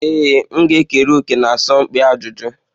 Ee, m ga-ekere òkè na asọmpi ajụjụ.